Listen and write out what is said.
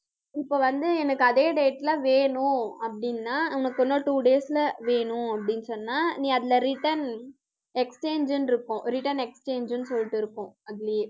இப்ப வந்து எனக்கு அதே date ல வேணும் அப்படின்னா உனக்கு இன்னும் two days ல வேணும் அப்படின்னு சொன்னா நீ அதுல return exchange ன்னு இருக்கும் return exchange ன்னு சொல்லிட்டு இருக்கும். அதுலயே